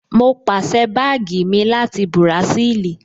Mo pàsẹ́ báàgì mi láti Bùràṣíìlì